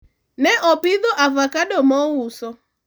ne opidho avocado mouso